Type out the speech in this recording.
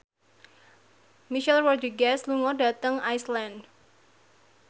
Michelle Rodriguez lunga dhateng Iceland